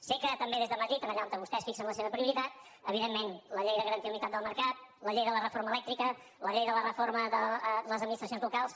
sé que també des de madrid allà on vostès fixen la seva prioritat evidentment la llei de garantia d’unitat del mercat la llei de la reforma elèctrica la llei de la reforma de les administracions locals